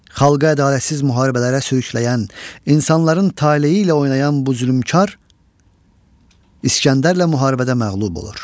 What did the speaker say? Xalqa ədalətsiz müharibələrə sürükləyən, insanların taleyi ilə oynayan bu zülmkar İskəndərlə müharibədə məğlub olur.